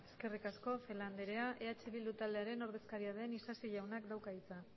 eskerrik asko celaá andrea eh bildu taldearen ordezkaria den isasi jaunak dauka hitza